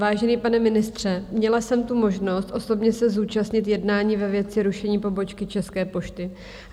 Vážený pane ministře, měla jsem tu možnost osobně se zúčastnit jednání ve věci rušení pobočky České pošty.